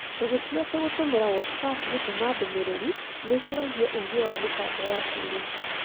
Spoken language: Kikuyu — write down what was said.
Tũgĩtua atĩ gũtũmĩra WhatsApp gũtũma ndũmĩrĩri nĩ ĩkũragia ũũgĩ wa mĩtambo ya kĩĩrĩu.